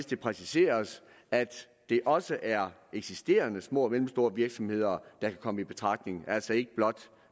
det præciseres at det også er eksisterende små og mellemstore virksomheder der kan komme i betragtning og altså ikke blot